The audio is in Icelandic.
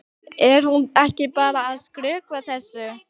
Er hún ekki bara að skrökva þessu?